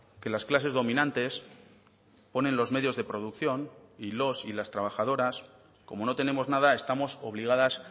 que las clases dominantes ponen los medios de producción y los y las trabajadoras como no tenemos nada estamos obligadas